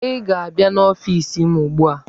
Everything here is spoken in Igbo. Ị ga-abịa n'ọfiisi m ugbu a!